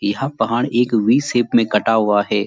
यह पहाड़ एक वी शेप में कटा हुआ है।